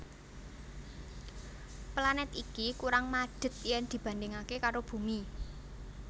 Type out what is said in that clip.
Planèt iki kurang madhet yen dibandhingaké karo Bumi